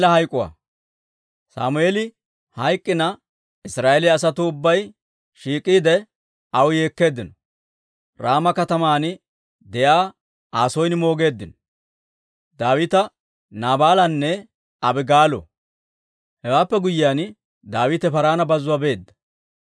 Sammeeli hayk'k'ina Israa'eeliyaa asatuu ubbay shiik'iide, aw yeekkeeddino; Raama kataman de'iyaa Aa son moogeeddino. Daawita, Naabaalanne Abigaalo Hewaappe guyyiyaan, Daawite Paaraana bazzuwaa beedda.